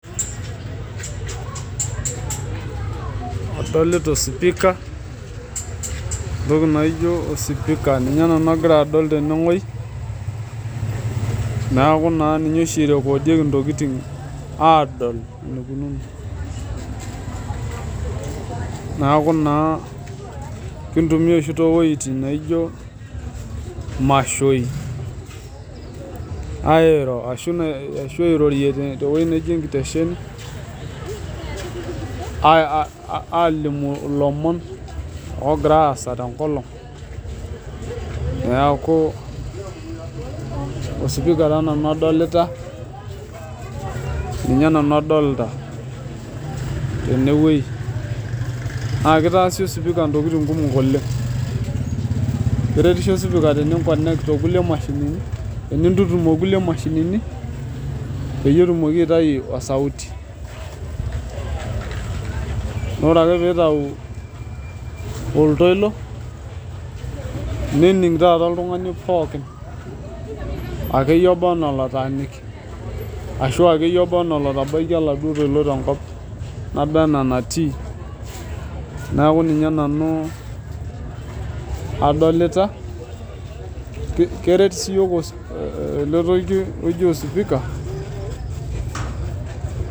Adolita osipika, ntoki naaijo osipika ninye nanu agira nanu adol teneweji, naaku naa ninye oshi eirekoodieki intokitin aadol neikunono, naaku naa kiintumiya oshii tee wejitin naaijo maishooi aairo ashu airorie te weji neji intesheni aalimu lomon oogira aasa te nkolong, naaku osipika taa nanu adolita, ninye nanu adolta teneweji, naa keitaasi osipika ntokitin kumok oleng, keretisho sipika teniinkonekt oonkule imashinini teniintutum ookule imashinini peyie etumoki aitayu osauti, naa ore ake peitau oltoilo nening taata ltungani pookin ake iye oba anaa netaaniki, ashu ake iyie anaa lotabaite ilado toilo tenkop naba anaa enatii naaku ninye nanu adolita, keret sii yook ale toki oji osipika .